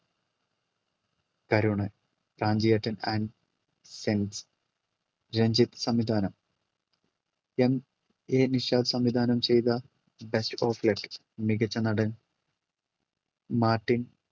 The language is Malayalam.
കരുണ് പ്രാഞ്ചിയേട്ടൻ ആൻഡ് സെയിന്റ്സ് രഞ്ജിത്ത് സംവിധാനം. MA നിഷാദ് സംവിധാനം ചെയ്ത ബെസ്റ്റ് ഓഫ് ലക്ക് മികച്ച നടൻ മാർട്ടിൻ